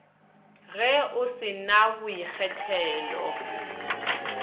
ge o se na boikgethelo